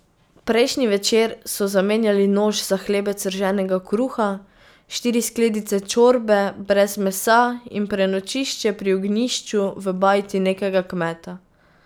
Prejšnji večer so zamenjali nož za hlebec rženega kruha, štiri skledice čorbe brez mesa in prenočišče pri ognjišču v bajti nekega kmeta.